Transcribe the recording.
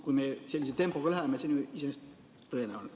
Kui me sellise tempoga edasi läheme, siis on see iseenesest tõenäoline.